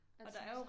Ja præcis